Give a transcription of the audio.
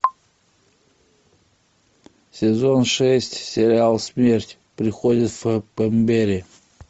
сезон шесть сериал смерть приходит в пемберли